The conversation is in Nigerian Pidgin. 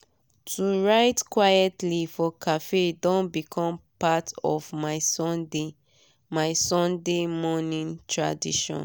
to write quitely for cafe don become part of my sunday my sunday morining tradition.